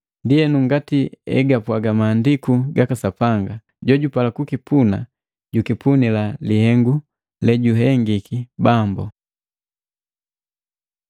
Ndienu, ngati egapwaga Maandiku gaka Sapanga, “Jojupala kukipuna, jukipunila lihengu lejuhengiki Bambu.”